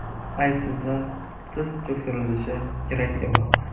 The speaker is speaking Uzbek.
Aybsizlar tiz cho‘ktirilishi kerak emas.